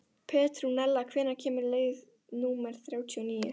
Petrúnella, hvenær kemur leið númer þrjátíu og níu?